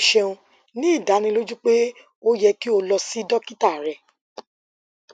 o ṣeun ni idaniloju pe o yẹ ki o lọ si dokita rẹ